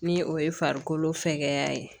Ni o ye farikolo fɛgɛya ye